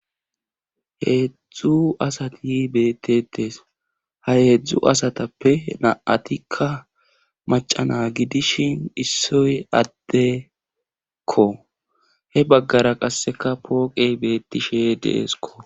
heedzdzu asati beettettes ha heedzdzu asatappe na7atikka macana gidishin issoy addekko he baggara qasseka pooqey beettishe deesko